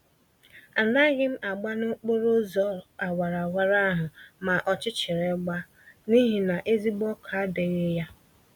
Anaghịm agba nokporo ụzọ awara awara ahụ ma ọchịchịrị gbaa, n'ihi na ezigbo ọkụ adịghị ya